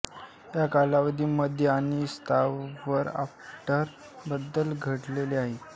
या कालावधीमधे आणि स्तरावर अफाट बदल घडले आहेत